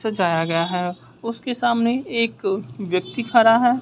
सजाया गया है उसके सामने एक व्यक्ति खड़ा है।